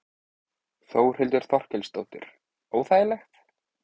Þórhildur Þorkelsdóttir: Óþægilegt?